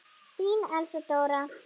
Þín, Elsa Dóra.